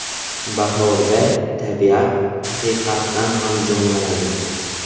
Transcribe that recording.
Bahorda tabiat haqiqatan ham jonlanadi.